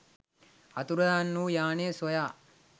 අතුරුදන් වූ යානය සොයා